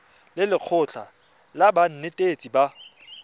le lekgotlha la banetetshi ba